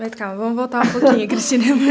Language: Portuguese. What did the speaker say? Mas calma, vamos voltar um pouquinho, Cristina.